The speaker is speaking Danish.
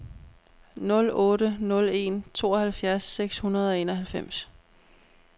nul otte nul en tooghalvfjerds seks hundrede og enoghalvfems